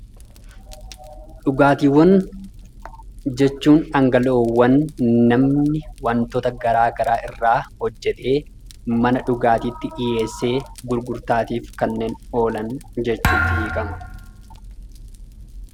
Dhugaatiiwwan jechuun dhangala'oowwan namni wantoota garagaraa irraa hojjatee mana dhugaatiitti dhiyeesse gurgurtaatiif kanneen oolan jechuutti hiikama.